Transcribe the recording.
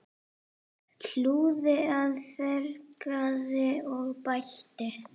Hlúði að, fegraði og bætti.